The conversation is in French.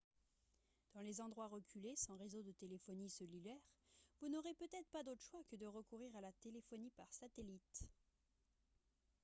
dans les endroits reculés sans réseau de téléphonie cellulaire vous n'aurez peut-être pas d'autre choix que de recourir à la téléphonie par satellite